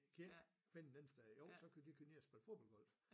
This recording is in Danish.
Kan i ikke finde et andet sted jo så kunne de køre ned og spille bordfodbold